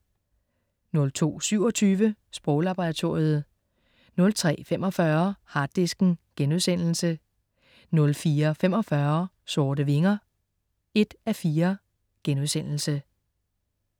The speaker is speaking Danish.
02.27 Sproglaboratoriet* 03.45 Harddisken* 04.45 Sorte Vinger 1:4*